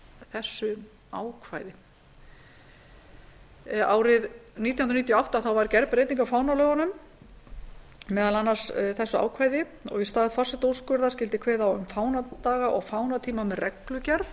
þessu ákvæði árið nítján hundruð níutíu og átta var gerð breyting á fánalögum meðal annars þessu ákvæði í stað forsetaúrskurðar skyldi kveðið á um fánadaga og fánatíma með reglugerð